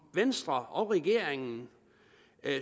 venstre og regeringen